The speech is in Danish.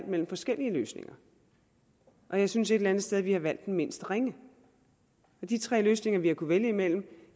mellem forskellige løsninger og jeg synes et eller andet sted at vi har valgt den mindst ringe de tre løsninger vi kunne vælge imellem